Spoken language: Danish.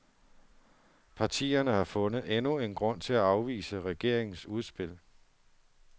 Partierne har fundet endnu en grund til at afvise regeringens udspil.